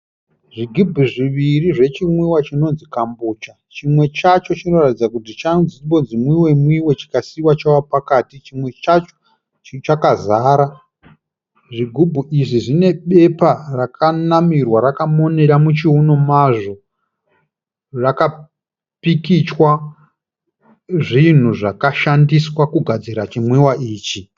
Zvigubhu zviviri zvechimwiwa chinonzi kambucha, chimwe chacho chinoratidza kuti chambonzi mwiwe mwiwe chikasiiwa chava pakati, chimwe chacho chakazara zvigumbu izvi zvine bepa rakanamirwa rakamonera muchiuno mazvo rakapikichwa zvinhu zvakashandiswa kugadzira chimwiwa ichi.